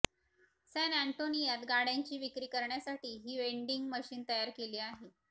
San एंटोनियात गाड्यांची विक्री करण्यासाठी ही वेंडिंग मशीन तयार केली आहे